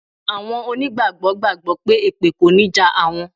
Àwọn onígbàgbọ́ gbàgbọ́ pé èpè kò ní jà àwọn.